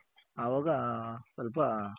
ಅವಾಗ ಸ್ವಲ್ಪ